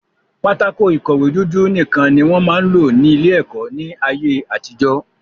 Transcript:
Pátákó ìkọ̀wé dúdú nìkan ni wọ́n máa ń lò ní ilé-ẹ̀kọ́ ní ayé-àtijọ́.